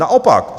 Naopak.